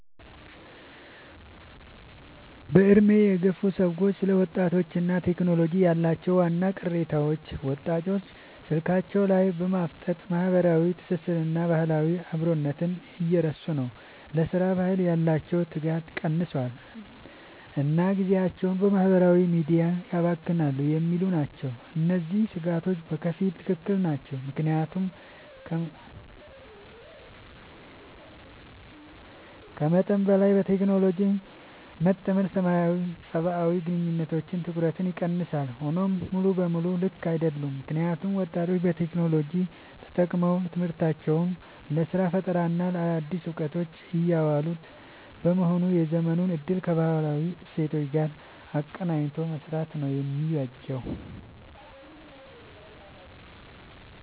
በዕድሜ የገፉ ሰዎች ስለ ወጣቶችና ቴክኖሎጂ ያላቸው ዋና ቅሬታዎች፦ ወጣቶች ስልካቸው ላይ በማፍጠጥ ማህበራዊ ትስስርንና ባህላዊ አብሮነትን እየረሱ ነው: ለሥራ ባህል ያላቸው ትጋት ቀንሷል: እና ጊዜያቸውን በማህበራዊ ሚዲያ ያባክናሉ የሚሉ ናቸው። እነዚህ ስጋቶች በከፊል ትክክል ናቸው። ምክንያቱም ከመጠን በላይ በቴክኖሎጂ መጠመድ ሰብአዊ ግንኙነቶችንና ትኩረትን ይቀንሳል። ሆኖም ሙሉ በሙሉ ልክ አይደሉም: ምክንያቱም ወጣቶች ቴክኖሎጂን ተጠቅመው ለትምህርታቸው: ለስራ ፈጠራና ለአዳዲስ እውቀቶች እያዋሉት በመሆኑ የዘመኑን እድል ከባህላዊ እሴቶች ጋር አቀናጅቶ መምራት ነው የሚበጀው።